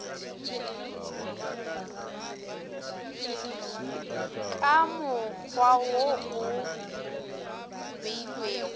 ka mokgwa wo o beilwego